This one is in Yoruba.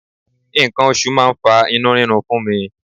Nǹkan oṣù máa ń fa inú rírun fún mi.